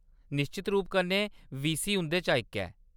निश्चत रूप कन्नै वीसी उंʼदे चा इक हे।